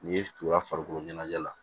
N'i ye turu a farikolo ɲɛnajɛ la